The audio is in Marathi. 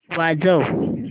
वाजव